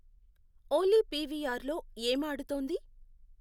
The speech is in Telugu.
ఓలీ పీవీఆర్ లో ఏం ఆడుతోంది